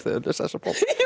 lesa þessa bók